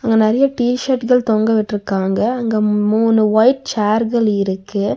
அங்க நெறைய டி_ஷர்ட்கள் தொங்க விட்ருக்காங்க அங்க மூணு ஒயிட் சேர்கள் இருக்கு.